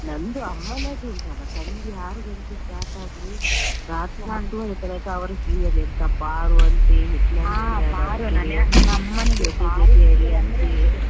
ನಂದು ಅಮ್ಮನದು ಉಂಟಲ್ಲ ಸಂಜೆ ಆರು ಗಂಟೆ start ಆದ್ರೆ ರಾತ್ರಿ ಹತ್ತೂವರೆ ತನಕ ಅವರ serial ಎಂತ ಪಾರು ಅಂತೆ ಹಿಟ್ಲರ್ ಕಲ್ಯಾಣ, ಜೊತೆ ಜೊತೆಯಲಿ ಅಂತೆ .